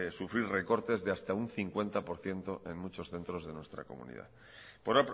sufrir recortes de hasta un cincuenta por ciento en muchos centros de nuestra comunidad por